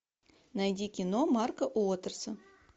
найди кино марка уотерса